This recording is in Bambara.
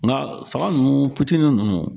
Nka saga ninnu fitini ninnu